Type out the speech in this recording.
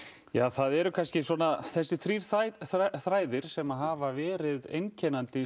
það eru kannski svona þessir þrír þræðir sem að hafa verið einkennandi